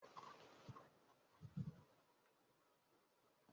Ndị nna nna anyị gosipụtara ejije ha n'obom